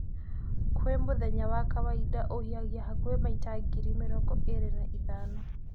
Kwĩ mũthenya wa kawaida, ũhihagia hakũhĩ maita ngiri mĩrongo ĩrĩ na ithano.